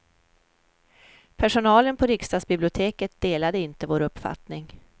Personalen på riksdagsbiblioteket delade inte vår uppfattning.